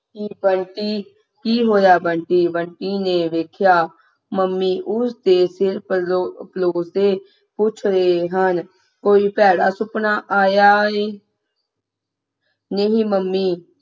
ਬੰਟੀ ਕੀ ਹੋਇਆ ਬੰਟੀ ਬੰਟੀ ਨੇ ਵੇਖਿਆ ਮੰਮੀ ਉਸ ਦੇ ਸਿਰ ਪਰਲੋ ਫਲੋਰ ਤੇ ਪੁੱਜ ਰਹੇ ਹਨ ਕੋਈ ਭੈੜਾ ਸੁਫਨਾ ਆਇਆ ਹੈ ਨਹੀਂ ਮੰਮੀ